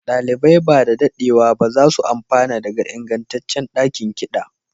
ɗalibai ba da daɗewa ba za su amfana daga ingantaccen ɗakin kiɗa